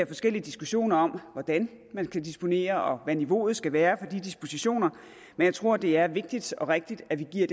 forskellige diskussioner om hvordan man skal disponere og hvad niveauet skal være for de dispositioner men jeg tror det er vigtigt og rigtigt at vi giver